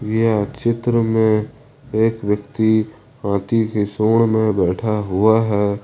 यह चित्र में एक व्यक्ति हाथी की सूंड में बैठा हुआ है।